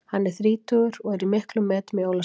Hann er þrítugur og er í miklum metum í Ólafsvík.